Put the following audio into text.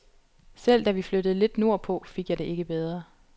Selv da vi flyttede lidt nordpå, fik jeg det ikke bedre.